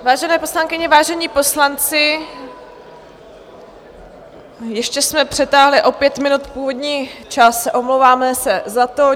Vážené poslankyně, vážení poslanci, ještě jsme přetáhli o pět minut původní čas, omlouváme se za to.